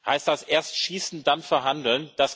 Heißt das Erst schießen, dann verhandeln?